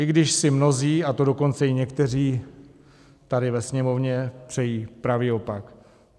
I když si mnozí, a to dokonce i někteří tady ve Sněmovně, přejí pravý opak.